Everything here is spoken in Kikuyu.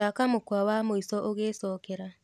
thaka mũkwa wa mwĩsho ugiĩcokera